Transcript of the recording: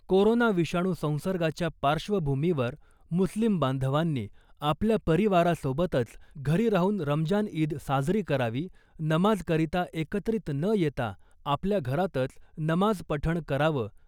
corona विषाणू संसर्गाच्या पार्श्वभूमीवर मुस्लिम बांधवांनी आपल्या परिवारासोबतच घरी राहून रमजान ईद साजरी करावी , नमाज करीता एकत्रित न येता आपल्या घरातच नमाज पठण करावं